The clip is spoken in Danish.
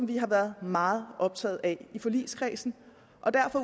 vi har været meget optaget af i forligskredsen